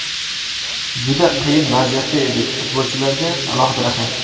Juda qiyin vaziyatda edik, futbolchilarga alohida rahmat.